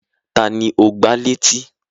Taàní o gbá létí?